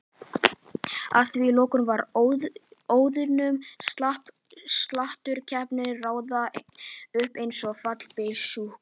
Að því loknu var ósoðnum sláturkeppunum raðað upp einsog fallbyssukúlum.